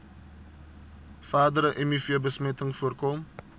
verdere mivbesmetting voorkom